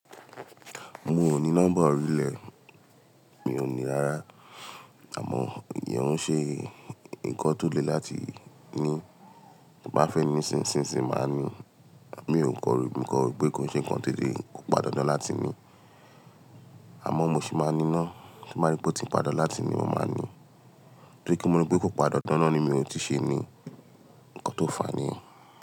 Mi ò ní nọ́mbà orílẹ̀, mi ò ní rárá àmọ̀ ìyẹ́ń o nṣe nǹkan tó le láti ní. Ti nba fẹ́ ni nísinsinyi máa ní. Mi ò kan mo kan ro pé kò nse nnkan to le pondándan láti ní. Àmọ́ mo sì máa ní ná tí nbá rí pé o ti pondándan láti ní mo máa ní. Torí pe mo ro pé kò pondándan naá ni mi ò tíì ṣe ní nǹkan tó fàni.